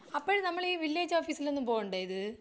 അപ്പഴ് നമ്മൾ വില്ലേജ് ഓഫീസിലൊന്നും പോവണ്ടേ ഇത്.